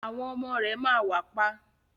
Àwọn ọmọ rẹ ma wà pa.